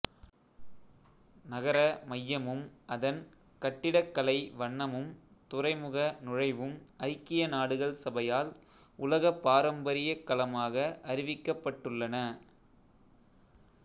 நகர மையமும் அதன் கட்டிடக்கலைவண்ணமும் துறைமுக நுழைவும் ஐக்கிய நாடுகள் சபையால் உலகப் பாரம்பரியக் களமாக அறிவிக்கப்பட்டுள்ளன